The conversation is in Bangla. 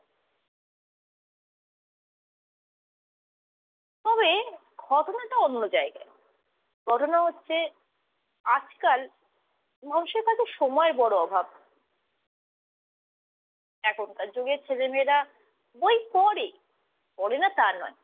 তবে ঘটনাটা অন্য জায়গায়, ঘটনা হচ্ছে, আজকাল মানুষের কাছে সময়ের বড় অভাব। এখনকার যুগের ছেলেমেয়েরা বই পড়ে, পড়ে না তা নয়।